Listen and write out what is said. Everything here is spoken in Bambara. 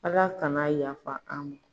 Ala kan'a yafa an ma.